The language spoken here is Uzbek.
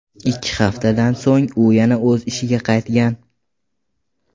Ikki haftadan so‘ng u yana o‘z ishiga qaytgan .